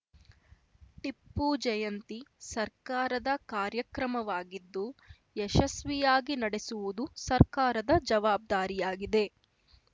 ಟಿಪ್ಪು ಜಯಂತಿ ಸರ್ಕಾರದ ಕಾರ್ಯಕ್ರಮವಾಗಿದ್ದು ಯಶಸ್ವಿಯಾಗಿ ನಡೆಸುವುದು ಸರ್ಕಾರದ ಜವಾಬ್ದಾರಿಯಾಗಿದೆ